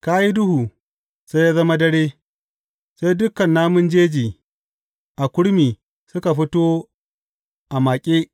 Ka yi duhu, sai ya zama dare, sai dukan namun jeji a kurmi suka fito a maƙe.